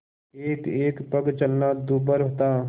एकएक पग चलना दूभर था